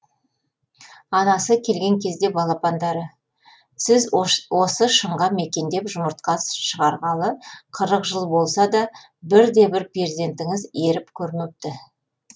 анасы келген кезде балапандары сіз осы шыңға мекендеп жұмыртқа шығарғалы қырық жыл болса да бірде бір перзентіңіз еріп көрмепті